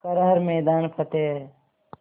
कर हर मैदान फ़तेह